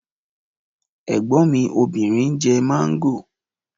Ẹ̀gbọ́n mi obìnrin ń jẹ mango